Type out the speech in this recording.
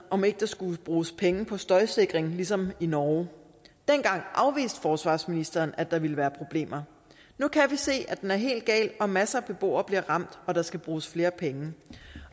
om ikke der skulle bruges penge på støjsikring ligesom i norge dengang afviste forsvarsministeren at der ville være problemer nu kan vi se at den er helt gal og at masser af beboere bliver ramt og at der skal bruges flere penge